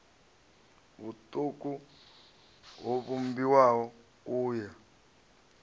vhuṱuku ho vhumbiwaho u ya